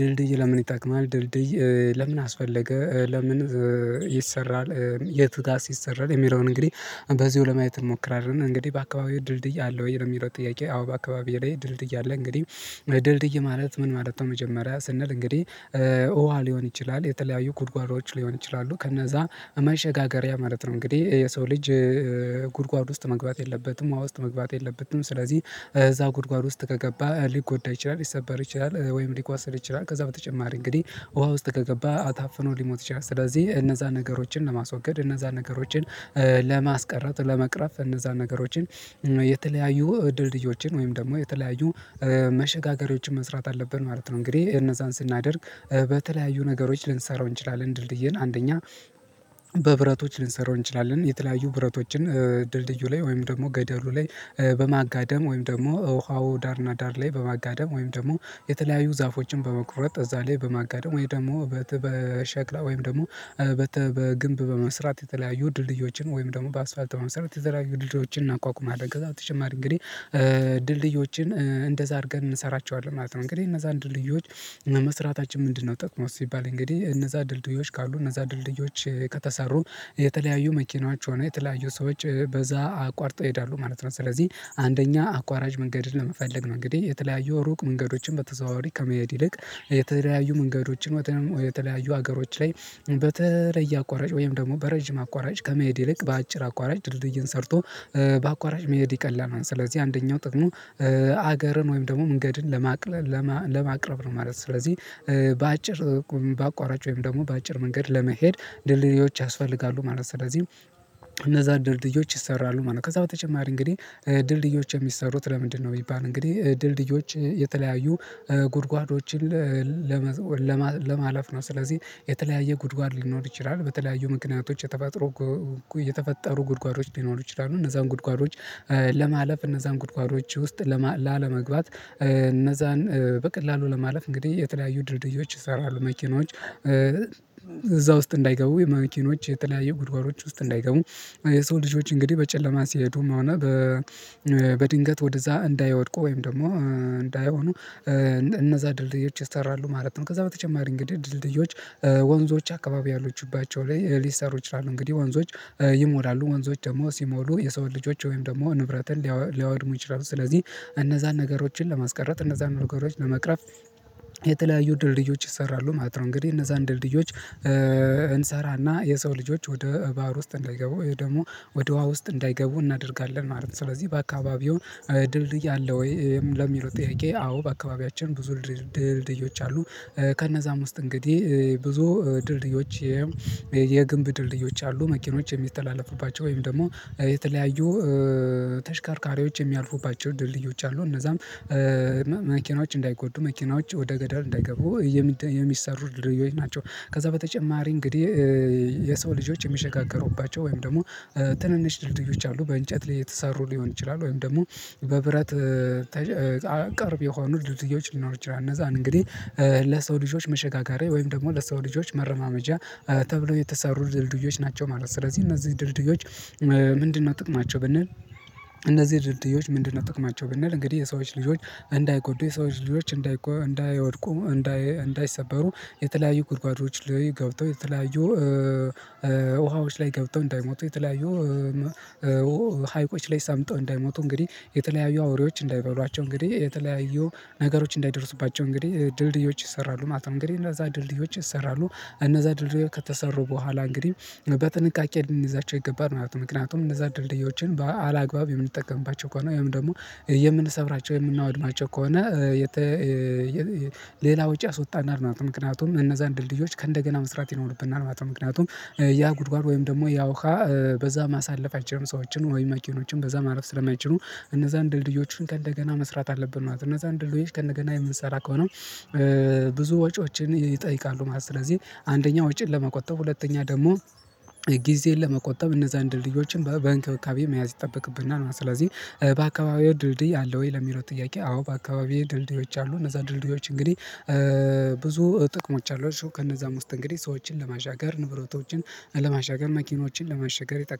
ድልድይ ለምን የጠቅማል ድልድይ ለምን አስፈለገ፣ ለምን ይሰራል የት ጋር ሲሰራ የሚለውን እንግዲህ በዚሁ ለማየት እሞክራለን እንግዲህ በአካባቢው ድልድይ አለ ወይ? የሚለው ጥያቄ አዎ፣ በአካባቢው ላይ ድልድይ አለ እንግዲህ ድልድይ ማለት ምን ማለት ነው መጀመሪያ ስንል እንግዲህ ውሃ ሊሆን ይችላል፣ የተለያዩ ጉድጓዶች ሊሆን ይችላሉ ከነዛ መሸጋገሪያ ማለት ነው። እንግዲህ የሰው ልጅ ጉድጓድ ውስጥ መግባት የለበትም፣ ውሃ ውስጥ መግባት የለበትም ስለዚህ እዛ ጉድጓድ ውስጥ ከገባ ሊጎዳ ይችላል፣ ሊሰበር ይችላል ወይም ሊቋሰር ይችላል ከዛ በተጨማሪ እንግዲህ ውሃ ውስጥ ከገባ አታፍኖ ሊሞት ይችላል። ስለዚህ እነዛን ነገሮችን ለማስወገድ እነዛን ነገሮችን ለማስቀረት፣ ለመቅረፍ እነዛን ነገሮችን የተለያዩ ድልድዮችን ወይም ደግሞ የተለያዩ መሸጋገሪያዎችን መስራት አለብን ማለት ነው። እንግዲህ እነዛን ስናደርግ በተለያዩ ነገሮች ልንሰራው እንችላለን ድልድይን አንደኛ በብረቶች ልንሰራው እንችላለን። የተለያዩ ብረቶችን ድልድዩ ላይ ወይም ደግሞ ገደሉ ላይ በማጋደም ወይም ደግሞ ውሃውን ዳር እና ዳር ላይ በማጋደም ወይም ደግሞ የተለያዩ ዛፎችን በመቁረጥ እዛ ላይ በማጋደም ወይ ደግሞ በሸክላ ወይም ደግሞ በግንብ በመስራት የተለያዩ ድልድዮችን ወይም ደግሞ በአስፋልት መስራት የተለያዩ ድልድዮችን እናቋቁማለን። ከዛ በተጨማሪ እንግዲህ ድልድዮችን እንደዛ አድርገን እንሰራቸዋለን ማለት ነው። እንግዲህ እነዛን ደልድዮች መስራታችን ምንድነው ጠቅሙ ሲባል እንግዲህ እነዛ ድልድዮች ካሉ እነዛ ድልድዮች ከተሰሩ የተለያዩ መኪናዎች ሆነ የተለያዩ ሰዎች በዛ አቋርጠው ይሄዳሉ ማለት ነው። ስለዚህ አንደኛ አቋራጭ መንገድን ለመፈለግ ነው። እንግዲህ የተለያዩ ሩቅ መንገዶችን በተዘዋዋሪ ከመሄድ ይልቅ የተለያዩ መንገዶችን ወይም የተለያዩ ሀገሮች ላይ በተለየ አቋራጭ ወይም ደግሞ በረጅም አቋራጭ ከመሄድ ይልቅ በአጭር አቋራጭ ድልድይን ሰርቶ በአቋራጭ መሄድ ይቀላል ማለት ነው። ስለዚህ አንደኛው ጥቅሙ ሀገርን ወይም ደግሞ መንገድን ለማቅረብ ነው ማለት ነው። ስለዚህ በአጭር በአቋራጭ ወይም ደግሞ በአጭር መንገድ ለመሄድ ድርድዮች ያስፈልጋሉ ማለት ነው። ስለዚህም እነዛ ድርድዮች ይሰራሉ ማለት ነው። ከዛ በተጨማሪ እንግዲህ ድልድዮች የሚሰሩት ለምንድነው ቢባል እንግዲህ ድልድዮች የተለያዩ ጉድጓዶችን ለመዘው ለማለፍ ነው። ስለዚህ የተለያየ ጉድጓድ ሊኖር ይችላል። በተለያዩ ምክንያቶች የተፈጠሩ የተፈጠሩ ጉድጓዶች ሊኖሩ ይችላሉ እነዛን ጉድጓዶች ለማለፍ እነዛን ጉድጓዶች ውስጥ ላለመግባት እነዛን በቀላሉ ለማለፍ እንግዲህ የተለያዩ ድርድዮች ይሰራሉ። መኪኖች እዛ ውስጥ እንዳይገቡ የመኪኖች የተለያየ ጉድጓዶች ውስጥ እንዳይገቡ የሰው ልጆች እንግዲህ በጨለማ ሲሄዱም ሆነ በድንገት ወደዛ እንዳይወድቁ ወይም ደግሞ እንዳይሆኑ እነዛ ድልድዮች ይሰራሉ ማለት ነው። ከዛ በተጨማሪ እንግዲህ ድልድዮች ወንዞች አካባቢ ያሎችባቸው ላይ ሊሰሩ ይችላሉ። እንግዲህ ወንዞች ይሞላሉ ወንዞች ደግሞ ሲሞሉ የሰው ልጆች ወይም ደግሞ ንብረትን ሊያወድሙ ይችላሉ ስለዚህ እነዛን ነገሮችን ለማስቀረት እነዛን ነገሮች ለመቅረፍ የተለያዩ ድልድዮች ይሰራሉ ማለት ነው። እንግዲህ እነዛን ድልድዮች እንሰራ እና የሰው ልጆች ወደ ባህር ውስጥ እንዳይገቡ ደግሞ ወደ ውሃ ውስጥ እንዳይገቡ እናደርጋለን ማለት ነው። ስለዚህ በአካባቢው ድልድይ አለ ወይ? ለሚለው ጥርቄ አዎ፣ በአካባቢያችን ብዙ ድልድይዎች አሉ። ከነዛም ውስጥ እንግዲህ ብዙ ድልድዮች የግብ ድልድዮች አሉ። መኪኖች የሚተላለፉባቸው ወይም ደግሞ የተለያዩ ተሽካርካሪዎች የሚያልፉባቸው ድልድዮች አሉ እነዛም መኪናዎች እንዳይጎዱ፣ መኪናዎች ወደ ገዳር እንዳይገቡ የሚሰሩት ድርጊት ናቸው። ከዛ በተጨማሪ እንግዲህ የሰው ልጆች የሚሸጋገሩባቸው ወይም ደግሞ ትንንሽ ድልድዮች አሉ በእንጨት ላይ የተሰሩ ሊሆን ይችላል ወይም ደግሞ በብረት ቅርብ የሆኑ ድልድዮች ሊኖሩ ይችላል። እነዛን እንግዲህ ለሰው ልጆች መሸጋገሪያ ወይም ደግሞ ለሰው ልጆች መረማመጃ ተብሎ የተሰሩ ድልድዮች ናቸው ማለት ነው። ስለዚህ እነዚህ ድርድዮች ምንድነው ጥቅማቸው ብንል እነዚህ ድርድዮች ምንድነው ጥቅማቸው ብንል እንግዲህ የሰዎች ልጆች እንዳይጎዱ የሰዎች ልጆች እንዳይጎ እንዳይወድቁ እንዳይሰበሩ የተለያዩ ጉድጓዶች ላይ ገብተው የተለያዩ ውሃዎች ላይ ገብቶ እንዳይሞቱ የተለያዩ ሀይቆች ላይ ሰምተው እንዳይሞቱ እንግዲህ የተለያዩ አውሬዎች እንዳይበሏቸው እንግዲህ የተለያዩ ነገሮች እንዳይደርሱባቸው እንግዲህ ድልድዮች ይሰራሉ ማለት ነው። እንግዲህ እነዛ ድልድዮች ይሰራሉ። እነዛ ድልድዮ ከተሰሩ በኋላ እንግዲህ በጥንቃቄ ልንይዛቸው ይገባል ማለት ነው። ምክንያቱም እነዛ ድርድዮችን በአላግባብ የምንጠቀምባቸው ከሆነ ወይም ደግሞ የምንሰብራቸው የምናወድማቸው ከሆነ ሌላ ውጪ ያስወጣናል ማለት ነው ምክንያቱም እነዛን ድልድዮች ከእንደገና መስራት ይኖሩብናል ማለት ነው ምክንያቱም ያ ጉድጓድ ወይም ደግሞ ያውሃ በዛ ማሳለፍ አይችሉም። ሰዎችን ወይም መኪኖችን በዛ ማለፍ ስለማይችሉ እነዛን ድልድዮችን ከእንደገና መስራት አለብን ማለት ነው። እነዛን ድልድዮች ከእንደገና የምንሰራ ከሆነ ብዙ ወጪዎችን ይጠይቃሉ ማለት ነው ስለዚህ አንደኛ ወጪን ለመቆጠብ፣ ሁለተኛ ደግሞ ጊዜን ለመቆጠብ እነዛን ድልድዮችን በእንክብካቤ መያዝ ይጠበቅብናል ነው ስለዚህ በአካባቢው ድልድይ አለ ወይ? ለሚለው ጥያቄ አዎ፣ በአካባቢው ድልድዮች አሉ እነዛ ድልድዮች እንግዲህ ብዙ ጥቅሞች አሏቸው ከነዛ ውስጥ እንግዲህ ሰዎችን ለማዣገር፣ ንብረቶችን ለማሻገር፣ መኪኖችን ለማሻገር ይጠቅማል።